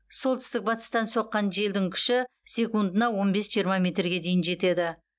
солтүстік батыстан соққан желдің күші секундына он бес жиырма метрге дейін жетеді